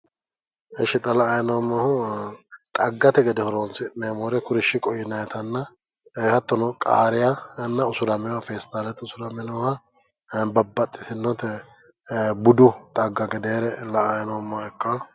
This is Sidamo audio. Ishi xa la'anni noommohu xaggate gede horonsi'nanita kuri shiqote yinannita ee hattono qariyaanna festaalete usurame nooha babbaxitinora budu xagga gedeere la'anni noommoha ikkanno.